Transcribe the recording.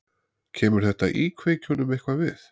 Kemur þetta íkveikjunum eitthvað við?